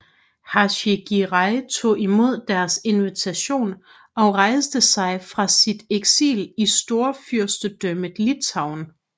Hacı Giray tog imod deres invitation og rejste fra sit eksil i Storfyrstendømmet Litauen